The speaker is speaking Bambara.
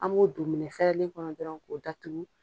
An b'o don minɛfɛrɛlen kɔnɔ dɔrɔn k'o datugu.